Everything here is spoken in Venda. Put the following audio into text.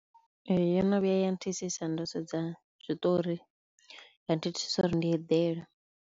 Ee yo no vhuya ya nthithisa ndo sedza zwiṱori, ya nthithisa uri ndi eḓela.